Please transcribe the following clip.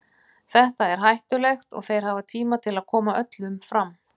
Þetta er hættulegt og þeir hafa tíma til að koma öllum fram.